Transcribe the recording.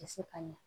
Tɛ se ka ɲɛ